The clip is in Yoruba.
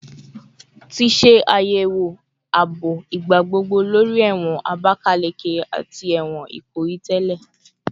Ti ṣe ayẹwo aabo igbagbogbo lori ẹwọn Abakaleke ati ẹwọn Ikoyi tẹlẹ